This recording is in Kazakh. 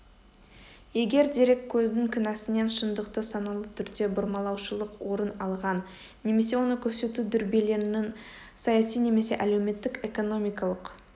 егер дереккөздің кінәсінен шындықты саналы түрде бұрмалаушылық орын алған немесе оны көрсету дүрбелеңнің саяси немесе әлеуметтік-экономикалық